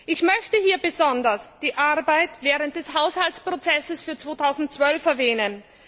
Ich möchte hier besonders die Arbeit während des Haushaltsprozesses für 2012 erwähnen.